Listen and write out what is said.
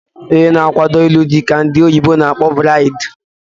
Onye na akwado ilu dị ka ndị oyibo na akpọ bridi